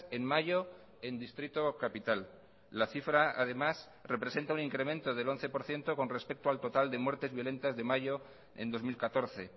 en mayo en distrito capital la cifra además representa un incremento del once por ciento con respecto al total de muertes violentas de mayo en dos mil catorce